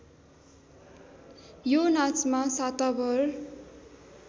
यो नाचमा साताभर